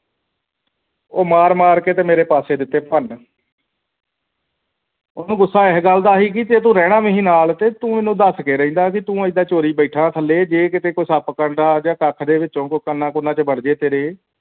ਤੇ ਉਹ ਮਾਰ ਮਾਰ ਕੇ ਤੇ ਮੇਰੇ ਪਾਸੇ ਦਿੱਤੇ ਭਨ ਉਹਨੂੰ ਗੁੱਸਾ ਇਸ ਗੱਲ ਦਾ ਸੀਗਾ ਕਿ ਜੇ ਤੂੰ ਰਹਿਣਾ ਸੀ ਨਾਲ ਤੇ ਤੂੰ ਮੈਨੂੰ ਦੱਸ ਕਿ ਰਹਿੰਦਾ ਤੇ ਤੂੰ ਏਦਾਂ ਚੋਰੀ ਬੈਠਾ ਥੱਲੇ ਜੇ ਕਿਤੇ ਕੋਈ ਸੱਪ ਕੰਡਾ ਆ ਜਾਂਦਾ ਕੱਖ ਦੇ ਵਿੱਚੋਂ ਕੋਈ ਕੰਨ ਕੁਨ੍ਹਾਂ ਦੇ ਵਿੱਚ ਵੜ ਜਾਵੇ ਤੇਰੇ